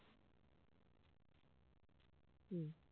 হুঁ